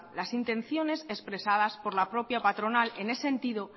las intenciones expresadas por la propia patronal en el sentido